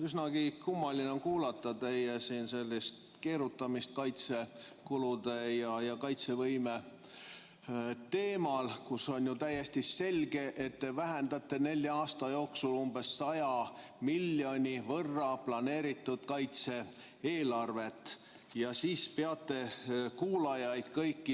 Üsna kummaline on kuulata siin teie keerutamist kaitsekulude ja kaitsevõime teemal, kui on ju täiesti selge, et te vähendate planeeritud kaitse-eelarvet nelja aasta jooksul umbes 100 miljoni euro võrra, ja siis peate kõiki kuulajaid